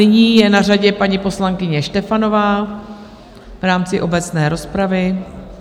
Nyní je na řadě paní poslankyně Štefanová v rámci obecné rozpravy.